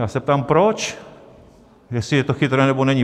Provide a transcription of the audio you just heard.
Já se ptám proč, jestli je to chytré, nebo není.